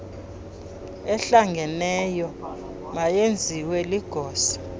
ehlangeneyo mayenziwe ligosa